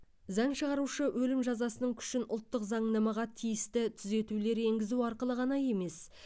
заң шығарушы өлім жазасының күшін ұлттық заңнамаға тиісті түзетулер енгізу арқылы ғана емес